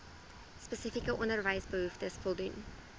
spesifieke onderwysbehoeftes voldoen